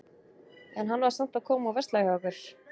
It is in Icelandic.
En hann var samt að koma og versla hjá ykkur?